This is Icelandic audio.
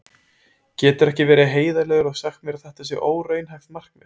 Geturðu ekki verið heiðarlegur og sagt mér að þetta sé óraunhæft markmið?